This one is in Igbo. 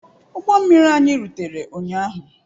Ụgbọ mmiri anyị rutere ụnyaahụ.